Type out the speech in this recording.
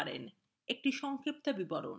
এর সংক্ষিপ্ত বিবরণ